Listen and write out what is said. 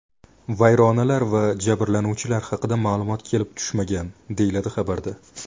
Vayronalar va jabrlanuvchilar haqida ma’lumot kelib tushmagan, deyiladi xabarda.